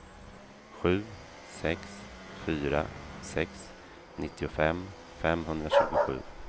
sju sex fyra sex nittiofem femhundratjugosju